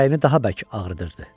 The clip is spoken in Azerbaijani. Ürəyini daha bərk ağrıdırırdı.